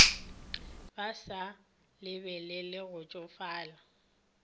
ba sa lebelele go tšofala